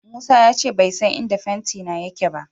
Musa ya ce bai san inda fentina yake ba.